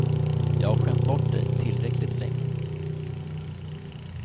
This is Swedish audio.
Jag har skämt bort dig tillräckligt länge.